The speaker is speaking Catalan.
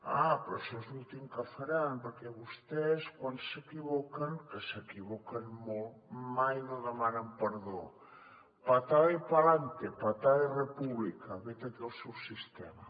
ah però això és l’últim que faran perquè vostès quan s’equivoquen que s’equivoquen molt mai no demanen perdó patada y p’alante patada y repúblicaseu sistema